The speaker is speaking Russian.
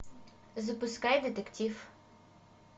запускай детектив